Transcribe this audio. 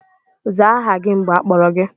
Zaa aha gị mgbe akpọrọ gị!